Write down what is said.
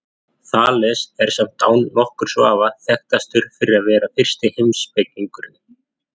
Þales er samt án nokkurs vafa þekktastur fyrir að vera fyrsti heimspekingurinn.